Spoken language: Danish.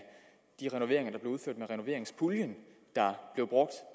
de renoveringer der blev udført med renoveringspuljen der blev brugt